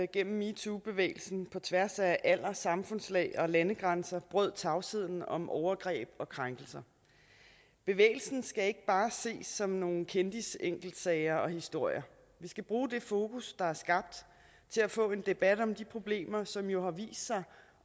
gennem metoobevægelsen på tværs af alder samfundslag og landegrænser brød tavsheden om overgreb og krænkelser bevægelsen skal ikke bare ses som nogle kendisenkeltsager og historier vi skal bruge det fokus der er skabt til at få en debat om de problemer som jo har vist sig